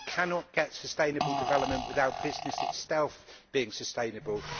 We cannot get sustainable development without business itself being sustainable.